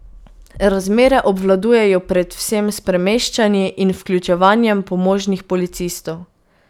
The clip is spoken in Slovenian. Razmere obvladujejo predvsem s premeščanji in vključevanjem pomožnih policistov.